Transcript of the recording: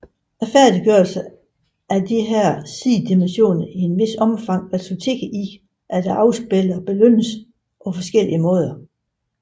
Færdiggørelse af disse sidemissioner i et vist omfang resulterer i afspilleren belønnes på forskellige måder